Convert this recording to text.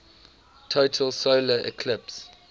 total solar eclipse